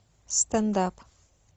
стендап